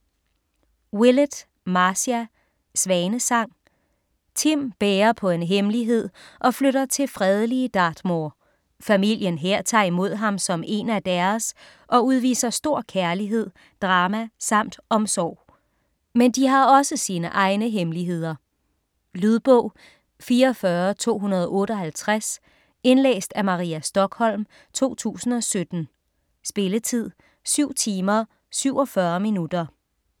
Willett, Marcia: Svanesang Tim bærer på en hemmelighed og flytter til fredelige Dartmoor. Familien her tager imod ham som én af deres og udviser stor kærlighed, drama samt omsorg. Men de har også sine egne hemmeligheder. Lydbog 44258 Indlæst af Maria Stokholm, 2017. Spilletid: 7 timer, 47 minutter.